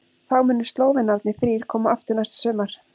Þá munu Slóvenarnir þrír koma aftur næsta sumar.